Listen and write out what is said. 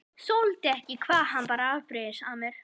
Þoldi ekki hvað hann var afbrýðisamur.